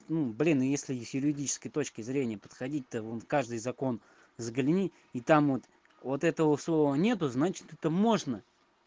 ну блин если и с юридической точки зрения подходить то вон в каждый закон загляни и там вот вот этого слова нету значит это можно